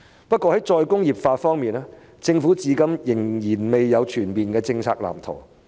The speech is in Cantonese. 不過，在再工業化方面，政府至今仍未有全面的政策藍圖。